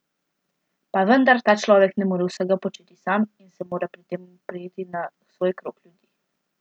Pa vendar, ta človek ne more vsega početi sam in se mora pri tem opreti na svoj krog ljudi.